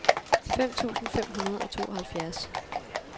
fem tusind fem hundrede og tooghalvfjerds